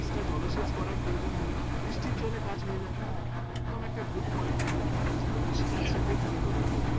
Extra জলসেচ করার প্রয়োজন হবে না বৃষ্টির জলে কাজ হয়ে যাবে হ্যাঁ হ্যাঁ একদম একটা good point ছিল আমি ওই জন্য কৃষিকাজটাকে তুলে ধরলাম